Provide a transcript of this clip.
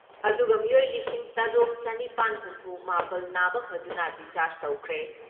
ꯑꯗꯨꯒ ꯃꯤꯑꯣꯏ ꯂꯤꯁꯤꯡ ꯇꯔꯨꯛ ꯆꯥꯅꯤꯄꯥꯟ ꯍꯨꯝꯐꯨ ꯃꯥꯄꯜ ꯅꯥꯕ ꯐꯗꯨꯅ ꯗꯤꯁꯆꯥꯔꯖ ꯇꯧꯈ꯭ꯔꯦ ꯫